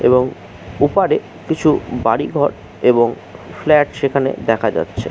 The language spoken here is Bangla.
এবং ওপারে কিছু বাড়ি ঘর এবং ফ্ল্যাট সেখানে দেখা যাচ্ছে।